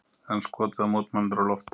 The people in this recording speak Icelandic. Enn skotið á mótmælendur úr lofti